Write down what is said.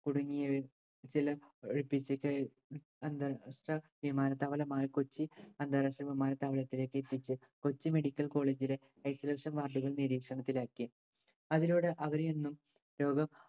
കുടുങ്ങിയ ചില അന്താരാഷ്ട്ര വിമാനത്താവളമായ കൊച്ചി അന്താരാഷ്ട്ര വിമാനത്താവത്തിലേക്ക് എത്തിച്ചു. കൊച്ചി medical college ലെ isolution ward കൾ നിരീക്ഷണത്തിലാക്കിയെ. അതിലൂടെ അവരെയൊന്നും